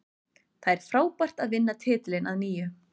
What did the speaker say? Það er frábært að vinna titilinn að nýju.